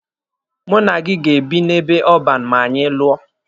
Mụ na gị ga-ebi n'ebe ọban ma anyị lụọ.